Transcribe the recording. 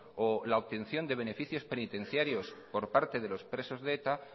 o la obtención de beneficios penitenciarios por parte de los presos de eta